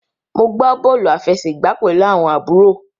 Mo gbà bóòlù àfẹsẹ̀gbá pẹlú àwọn àbúrò.